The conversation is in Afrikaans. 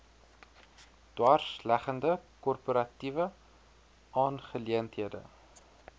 dwarsleggende korporatiewe aangeleenthede